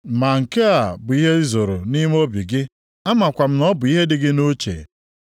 “Ma nke a bụ ihe i zoro nʼime obi gị, amakwa m na ọ bụ ihe dị gị nʼuche.